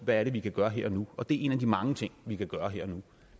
hvad er det vi kan gøre her og nu og det er en af de mange ting vi kan gøre her og nu